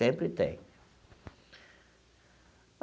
Sempre tem.